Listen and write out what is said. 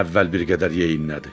Əvvəl bir qədər yeyinlədi.